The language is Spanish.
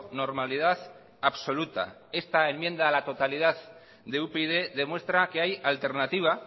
normalidad absoluta esta enmienda a la totalidad de upyd demuestra que hay alternativa